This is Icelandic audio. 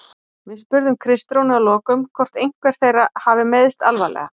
Við spurðum Kristrúnu að lokum hvort einhver þeirra hafi meiðst alvarlega?